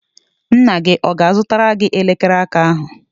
Nna gị ọ ga-azụtara gị elekere aka ahụ?